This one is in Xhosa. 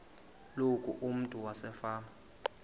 loku umntu wasefama